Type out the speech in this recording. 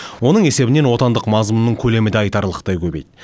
оның есебінен отандық мазмұнның көлемі де айтарлықтай көбейді